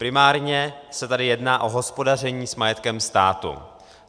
Primárně se tady jedná o hospodaření s majetkem státu.